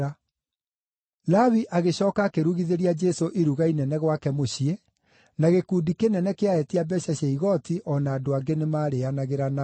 Lawi agĩcooka akĩrugithĩria Jesũ iruga inene gwake mũciĩ, na gĩkundi kĩnene kĩa etia mbeeca cia igooti o na andũ angĩ nĩmarĩĩanagĩra nao.